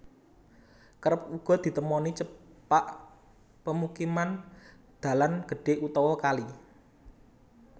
Kerep uga ditemoni cepak pemukiman dalan gedhé utawa kali